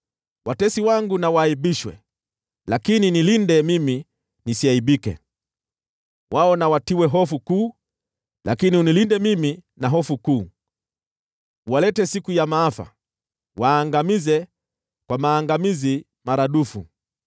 Watesi wangu na waaibishwe, lakini nilinde mimi nisiaibike; wao na watiwe hofu kuu, lakini unilinde mimi na hofu kuu. Waletee siku ya maafa; waangamize kwa maangamizi maradufu.